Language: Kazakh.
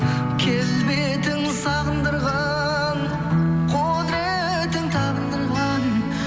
келбетің сағындырған құдыретің табындырған